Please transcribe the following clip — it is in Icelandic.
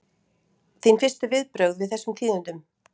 Þín fyrstu viðbrögð við þessum tíðindum?